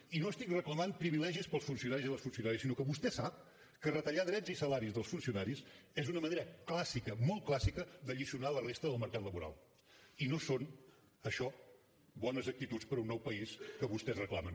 i no reclamo privilegis per als funcionaris i les funcionàries sinó que vostè sap que retallar drets i salari dels funcionaris és una manera clàssica molt clàssica d’alliçonar la resta del mercat laboral i no són això bones actituds per a un nou país que vostès reclamen